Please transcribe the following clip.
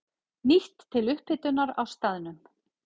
Nýtt til upphitunar á staðnum.